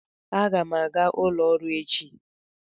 Aga m aga ụlọ ọrụ echi